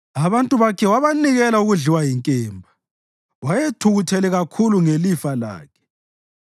Abantu bakhe wabanikela ukudliwa yinkemba; wayethukuthele kakhulu ngelifa lakhe.